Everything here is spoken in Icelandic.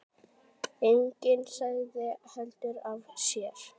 Enginn sagði heldur af sér.